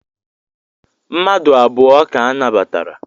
Mmadu abụọ ka anabatara.